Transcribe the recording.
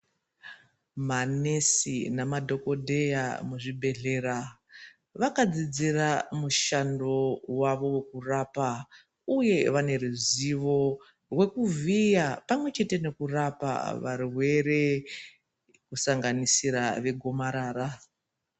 Manesi namadhokodheya muzvibhedhlera vakadzidzira mushando wavo wokurapa, Uye vane ruzivo rwekuvhiya pamwechete nekurapa varwere kusanganisira vegomarara.